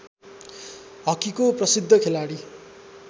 हकीको प्रसिद्ध खेलाडी